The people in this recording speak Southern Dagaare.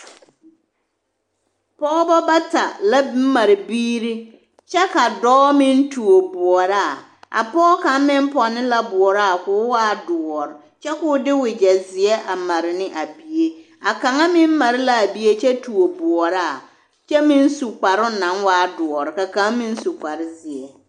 Pɔgebɔ bata la mare biiri kyɛ ka dɔɔ meŋ tuo bɔɔraa, a pɔge kaŋ meŋ pɔnne la bɔɔraa k'o waa doɔre kyɛ k'o de wegyɛ zeɛ a mare ne a bie, a kaŋa meŋ mare l'a bie kyɛ tuo bɔɔraa kyɛ meŋ su kparoŋ naŋ waa doɔre ka kaŋ meŋ su kpare zeɛ.